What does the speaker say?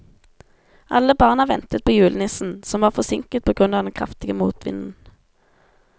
Alle barna ventet på julenissen, som var forsinket på grunn av den kraftige motvinden.